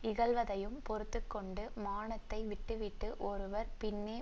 இகழ்வதையும் பொறுத்துக்கொண்டு மானத்தை விட்டுவிட்டு ஒருவர் பின்னே